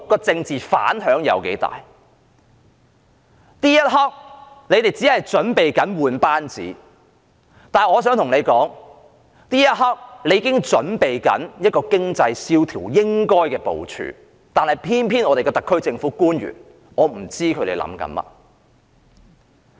政府這一刻專注更換班子，但我想告訴政府，這一刻應該準備經濟蕭條下應有的部署，然而我不知道特區政府的官員在想甚麼。